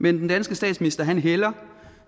men den danske statsminister hælder